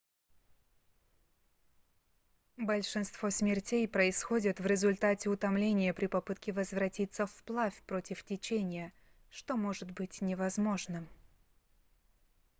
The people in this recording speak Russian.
большинство смертей происходит в результате утомления при попытке возвратиться вплавь против течения что может быть невозможным